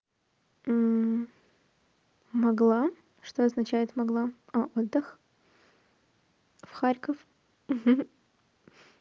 могла что означает могла а отдых в харьков